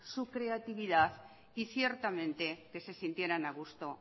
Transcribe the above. su creatividad y ciertamente que se sintieran a gusto